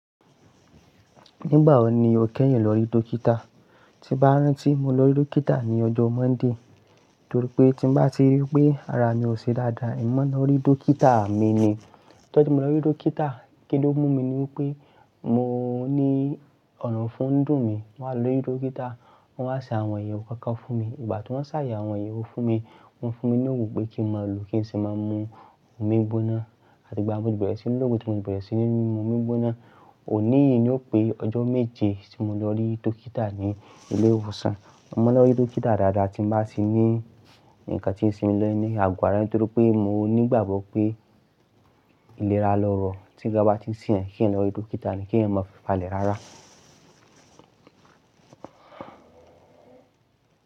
Nígbà wo ni o kẹ́yìn lọ rí dókítà? Ti n bá rán tí mo lọ rí dókítà ni ọjọ́ Monday, torí pé tí n bá ti rí pé ara mi ò ṣe dáadáa, emi maa n lọ rí dókítà mi ni. Lọ́jọ́ tí mo lọ rí dókítà, kí ló mú mi ni wípé mo ní ọna fún dùn mi. Mo wá lọ rí dókítà, wọ́n wá ṣe àwọn ayewọ̀ kankan fún mi. Ìgbà tí wọ́n ṣàyè àwọn ayewọ̀ fún mi, wọ́n fún mi ní òògùn pé kí n máa lò ó, kí n sì máa mu omi gbóná. Àti ìgbà un ni mo bẹ̀rẹ̀ sí ní lò òògùn tí mo ti bẹ̀rẹ̀ sí ní mu omi gbóná. Òní yìí ni ó pé ọjọ́ méje tí mo lọ rí dókítà ní ilé ìwòsàn. Mo máa ń lọ rí dókítà dáadáa tí n bá tì ní ǹkan tí ń se mi ní àgọ́ ara, torí pé mo ní ìgbàgbọ́ pé ìlera lọ́rọ̀ tí nkan bá ti ṣẹ́ eniyan, kí eniyan lọ rí dókítà ni kí ẹniyan máa fi falẹ̀ rárá.